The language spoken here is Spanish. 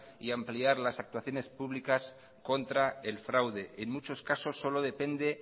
y ampliar las actuaciones públicas contra el fraude en muchos casos solo depende